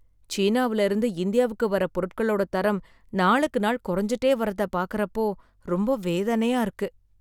சீனாவுல இருந்து இந்தியாவுக்கு வர்ற பொருட்களோட தரம் நாளுக்கு நாள் குறைஞ்சுட்டே வர்றத பார்க்கறப்போ ரொம்ப வேதனையா இருக்கு